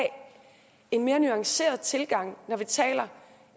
en mere nuanceret tilgang når vi taler